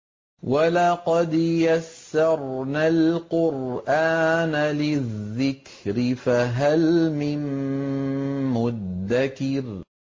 وَلَقَدْ يَسَّرْنَا الْقُرْآنَ لِلذِّكْرِ فَهَلْ مِن مُّدَّكِرٍ